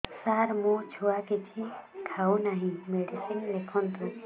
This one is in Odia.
ସାର ମୋ ଛୁଆ କିଛି ଖାଉ ନାହିଁ ମେଡିସିନ ଲେଖନ୍ତୁ